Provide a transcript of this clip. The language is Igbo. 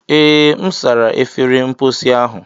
Ee, M sara efere mposi ahụ.